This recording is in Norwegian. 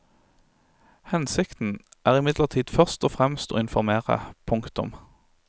Hensikten er imidlertid først og fremst å informere. punktum